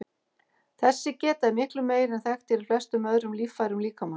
Þessi geta er miklu meiri en þekkt er í flestum öðrum líffærum líkamans.